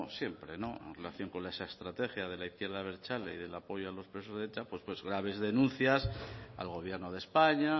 siempre en relación con las estrategias de la izquierda abertzale y del apoyo a los presos de eta pues graves denuncias al gobierno de españa